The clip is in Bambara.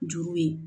Juru ye